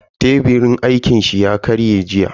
Teburin aikin shi ya karye jiya.